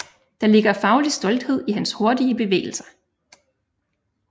Der ligger faglig stolthed i hans hurtige bevægelser